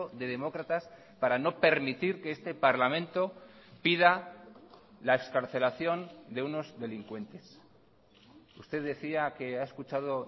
de demócratas para no permitir que este parlamento pida la excarcelación de unos delincuentes usted decía que ha escuchado